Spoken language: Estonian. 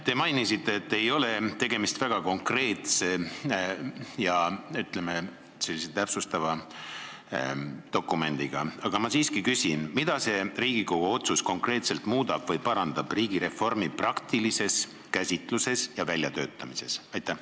Te mainisite, et tegemist ei ole väga konkreetse ja, ütleme, täpsustava dokumendiga, aga ma siiski küsin: mida see Riigikogu otsus konkreetselt muudab või parandab riigireformi praktilises käsitluses ja väljatöötamises?